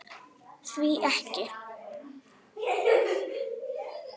Því ekki?